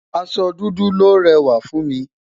aṣọ dúdú lòó réwà fún mi